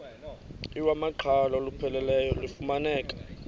iwamaqhalo olupheleleyo lufumaneka